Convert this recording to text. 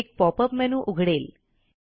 एक pop up menu उघडेल